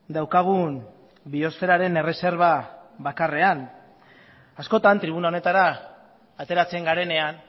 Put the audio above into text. daukagun biosferaren erreserba bakarrean askotan tribuna honetara ateratzen garenean